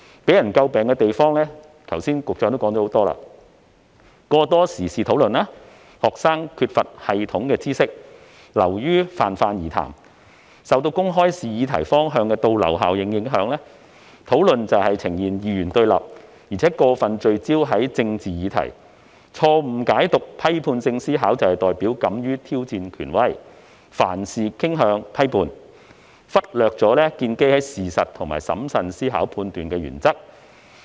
局長剛才指出了很多為人詬病的地方，包括過多時事討論，加上學生缺乏有系統的知識，以致討論流於泛泛而談；受公開試擬題方向的倒流效應所影響，討論呈現二元對立，而且過分聚焦於政治議題；錯誤解讀批判性思考，以為是代表敢於挑戰權威，凡事傾向批判，忽略了須建基於事實作出審慎思考判斷的原則。